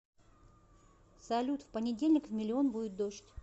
салют в понедельник в миллион будет дождь